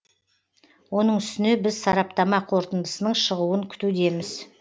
оның үстіне біз сараптама қорытындысының шығуын күтудеміз